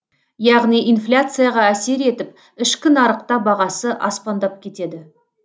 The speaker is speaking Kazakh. яғни инфляцияға әсер етіп ішкі нарықта бағасы аспандап кетеді